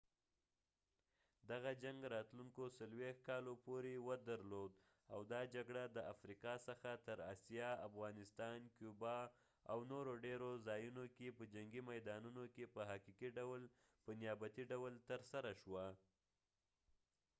دغه جنګ راتلونکو 40 کالو پورې ودرلود او دا جګړه د افریقا څخه تر اسیا افغانستان کیوبا او نورو ډېرو ځایونو کې په جنګي میدانونو کې په حقیقي ډول په نیابتي ډول ترسره شوه